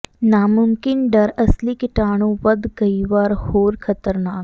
ਨਾਮੁਮਕਿਨ ਡਰ ਅਸਲੀ ਕੀਟਾਣੂ ਵੱਧ ਕਈ ਵਾਰ ਹੋਰ ਖਤਰਨਾਕ